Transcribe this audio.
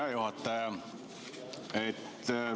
Hea juhataja!